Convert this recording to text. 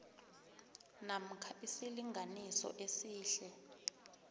namkha isilinganiso esihle